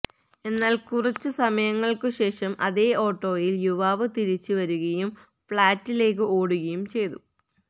എന്നാല് കുറച്ചുസമയങ്ങള്ക്കുശേഷം അതേ ഓട്ടോയില് യുവാവ് തിരിച്ച് വരുകയും ഫ് ളാറ്റിലേക്ക് ഓടുകയും ചെയ്തു